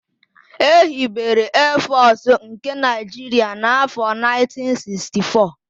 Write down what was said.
Ehibere Eefọsụ nke Naịjiria n'afọ 1964.